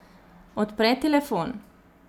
Odpre telefon.